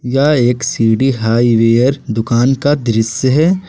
यह एक सी_डी हाईवेयर दुकान का दृश्य है।